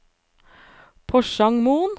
Porsangmoen